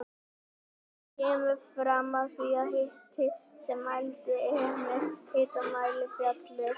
Það kemur fram í því að hiti sem mældur er með hitamæli fellur.